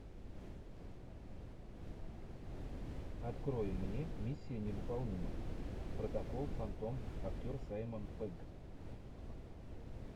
открой мне миссия невыполнима протокол фантом актер саймон пегг